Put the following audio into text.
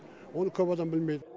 оны көп адам білмейді